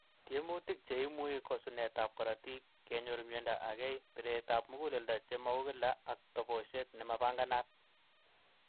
Tiemutik che imui ko sunet ap korotik, kenyor miondo agei, piret ap muguleldo che maukila ak toboshet nemapanganat.